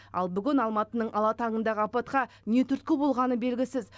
ал бүгін алматының ала таңындағы апатқа не түрткі болғаны белгісіз